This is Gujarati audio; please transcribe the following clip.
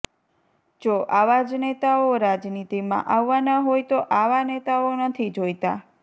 જો આવા જ નેતાઓ રાજનીતિમાં આવવાના હોય તો આવા નેતાઓ નથી જોઈતા